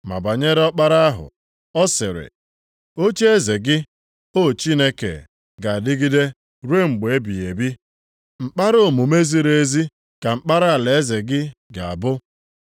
Ma banyere Ọkpara ahụ, ọ sịrị, “Ocheeze gị, O Chineke, ga-adịgide ruo mgbe ebighị ebi. Mkpara omume ziri ezi ka mkpara alaeze gị ga-abụ.